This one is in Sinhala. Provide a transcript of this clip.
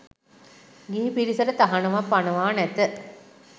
ගිහි පිරිසට තහනමක් පනවා නැත.